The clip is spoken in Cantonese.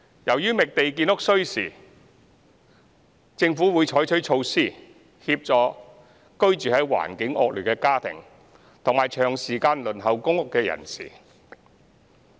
由於覓地建屋需時，政府會採取措施，協助居住環境惡劣的家庭及長時間輪候公屋人士。